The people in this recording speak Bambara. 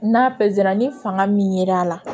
N'a pezera ni fanga min yer'a la